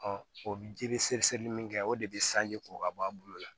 o ji seereseli min kɛ o de bɛ sanji ko ka bɔ a bolo la